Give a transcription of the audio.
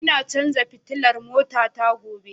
Ina cajin fitilar motata gobe